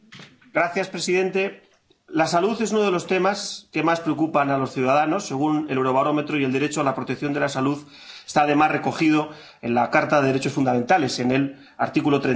Señor presidente, la salud es uno de los temas que más preocupan a los ciudadanos, según el Eurobarómetro, y el derecho a la protección de la salud está, además, recogido en la Carta de los Derechos Fundamentales, en su artículo